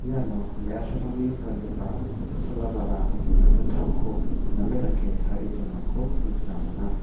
iano me·asarangni gangipa chola ba·ra kinggittamko name dake tarie donako nikna man·a.